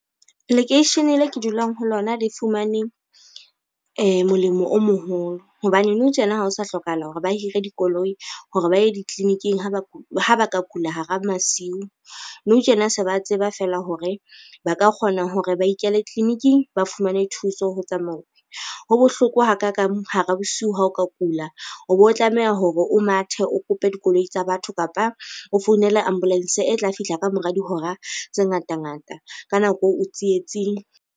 Lekeishene le ke dulang ho lona le fumane molemo o moholo, hobane nou tjena ha o sa hlokahala hore ba hire dikoloi hore ba ye ditliliniking ha ba ka kula hara masiu. Nou tjena se ba tseba fela hore ba ka kgona hore ba ikele tliliniking ba fumane thuso ho tsamauwe. Ho bohloko ha ka kang hara bosiu ha o ka kula, o bo tlameha hore o mathe o kope dikoloi tsa batho kapa o founele ambulence e tla fihla ka mora dihora tse ngata ngata ka nako eo o tsietsing.